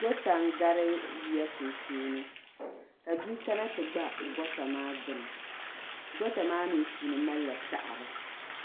goota n-gari yiya sunsuuni ka bia kana ti gba goota maa gbuni goota maa mi puuni mali la saɣiri